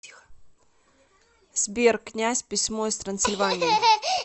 сбер князь письмо из трансильвании